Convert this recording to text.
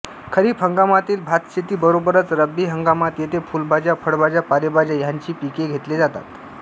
खरीप हंगामातील भातशेती बरोबरच रब्बी हंगामात येथे फुलभाज्या फळभाज्या पालेभाज्या ह्यांचे पीक घेतले जाते